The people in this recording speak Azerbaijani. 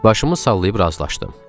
Başımla salayıb razılaşdım.